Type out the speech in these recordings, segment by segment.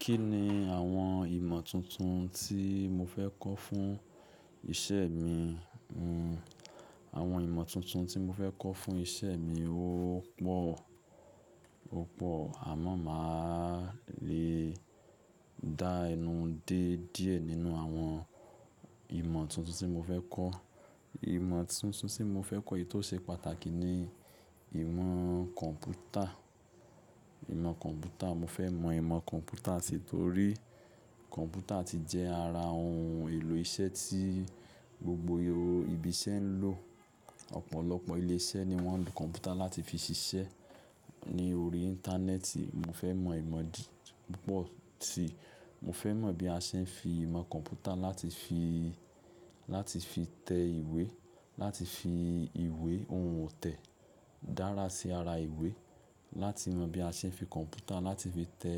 Kí ni àwọn ìmọ̀ tuntun tí mo fẹ́ kọ́ fún isẹ́ mi? Àwọn ìmọ̀ tuntun tí mo fẹ́ kọ́ fún isẹ́ mi ó pọ̀, ó pọ̀ àmọ́ mà á le dá ẹnu dé díẹ̀ nínú àwọn ìmọ̀ tuntun tí mo fẹ́ kọ́. Ìmọ̀ tuntun tí mo fẹ́ kọ́ èyí tó ṣe pàtàkì ni ìmọ̀ kọ̀m̀pútà. Ìmọ̀ kọ̀m̀pútà, mo fẹ́ mọ ìmọ̀ kọ̀m̀pútà si torí kọ̀m̀pútà ti jẹ ara ohun èlò iṣẹ́ tí gbogbo ibi iṣẹ́ ń lò. Ọ̀pọ̀lọpọ̀ ilé iṣẹ́ ni wọ́n ń lo kọ̀m̀pútà láti fi ṣiṣẹ́. Ni orí Íńtánẹ́ẹ̀tì, mo fẹ́ mọ ìmọ̀ púpọ̀ si. Mo fẹ́ mọ bí a ṣe ń fi ìmọ̀ kọ̀m̀pútà láti fi, láti fi tẹ ìwé, láti fi ìwé ohun otẹ̀ dára sí ara ìwé, láti mọ bí a ṣe ń fi kọ̀m̀pútà láti fi tẹ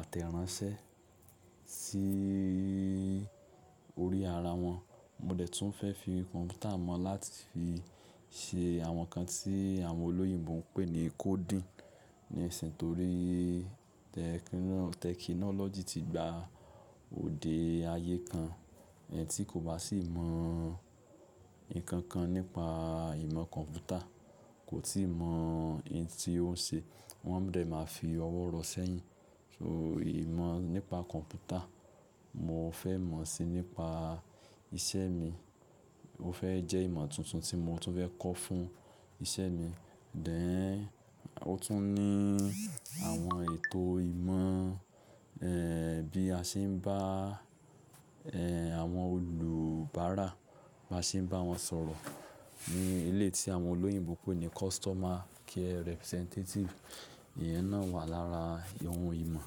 àtẹ̀ránsẹ́ sí orí ara wọn. Mo dẹ̀ tún fẹ́ fi kọ̀m̀pútà mọ̀ láti fi ṣe àwọn nǹkan tí àwọn olóyìnbo ń pè ní coding. Nísìnyí torí tẹkinọ́lọ́jì ti gba òde ayé kan, ẹni tí kò bá sì mọ nǹkan kan nípa ìmọ̀ kọ̀m̀pútà kò tíì mọ ohun tí ó ń ṣe. Wọ́n dẹ̀ máa fi ọwọ́ rọ sẹ́yìn. So ìmọ̀ nípa kọ̀m̀pútà, mo fẹ́ mọ̀ ó sì nípa iṣẹ́ mi. Ó fẹ́ jẹ́ ìmọ̀ tuntun tí mo tún fẹ́ kọ́ fún iṣẹ́ mi. Then, ó tún ní àwọn ètò ìmọ̀, bí a ṣe ń bá, àwọn olùbárà, bá ṣe ń bá wọn sọ̀rọ̀ ní ilé tí àwọn olóyìnbo ń pè ní customer care representative. Ìyẹn náà wà lára ohun ìmọ̀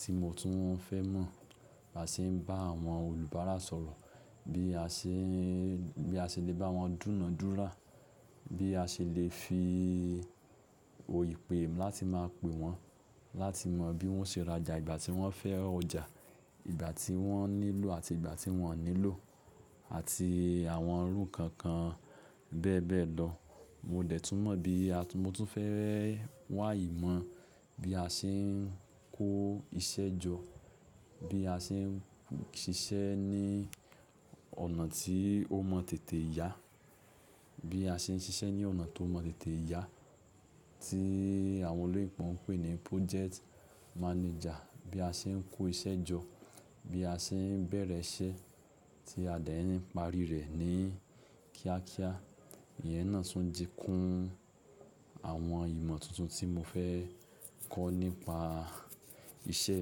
tí mo tún fẹ́ mọ̀. Bá ṣe ń bá àwọn olùbárà sọ̀rọ̀, bí a ṣe ń, bí a ṣe lè bá wọn dúna dúra, bí a ṣe lè fi oyè pè láti máa pè wọ́n, láti mọ bí wọ́n ṣe rajà ìgbà tí wọ́n fẹ́ ọjà, ìgbà tí wọ́n nílò àti ìgbà tí wọ́n ò nílò àti àwọn irú kankan bẹ́ẹ̀ bẹ́ẹ̀ lọ. Mo dẹ̀ tún mọ̀ bí, mo tún fẹ́ wà ìmọ̀ bí a ṣe ń kó iṣẹ́ jọ, bí a ṣe ń ṣiṣẹ́ ní ọ̀nà tí ó mọ tètè yà, bí a ṣe ń ṣiṣẹ́ ní ọ̀nà tó mọ tètè ìyà tí àwọn olóyìnbo ń pè ní project manager. Bí a ṣe ń kó iṣẹ́ jọ, bí a ṣe ń bẹ̀rẹ̀ iṣẹ́ tí a dẹ̀ ń parí rẹ̀ ní kíákíá. Ìyẹn náà tún dínkù àwọn ìmọ̀ tuntun tí mo fẹ́ kọ́ nípa iṣẹ́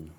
mi.